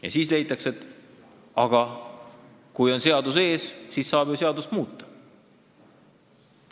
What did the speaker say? Ja siis leitakse, et kui on seadus sellel plaanil ees, siis saab ju seadust muuta.